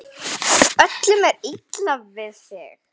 Öllum er illa við þig!